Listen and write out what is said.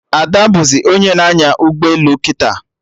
Ada bụzị onye na-anya ụgbọelu kịta